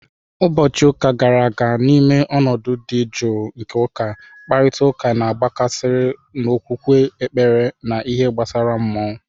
Ụbọchị ụka gara aga, N'ime ọnọdụ dị jụụ nke ụka, mkparịta ụka na-agbasakarị n'okwukwe, ekpere, na ihe gbasara mmụọ.